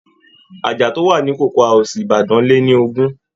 Àjà tó wà ní cocoa House Ibadan lé ní ogún